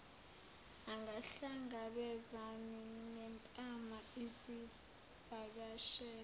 angahlangabezani nempama izivakashela